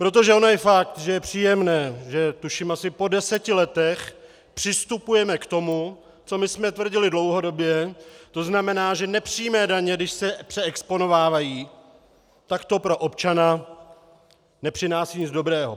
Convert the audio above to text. Protože ono je fakt, že je příjemné, že tuším asi po deseti letech přistupujeme k tomu, co my jsme tvrdili dlouhodobě, to znamená, že nepřímé daně, když se přeexponovávají, tak to pro občana nepřináší nic dobrého.